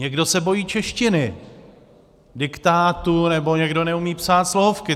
Někdo se bojí češtiny, diktátu nebo někdo neumí psát slohovky.